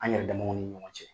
An yɛrɛ damaw ni ɲɔgɔn cɛ.